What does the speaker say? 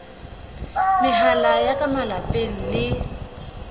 mehala ya ka malapeng le